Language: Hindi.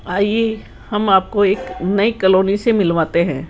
आइए हम आपको एक नई कलोनी से मिलवाते हैं।